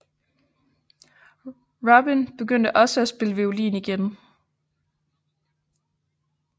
Robin begyndte også at spille violin igen